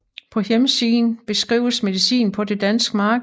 På hjemmesiden beskrives medicin på det danske marked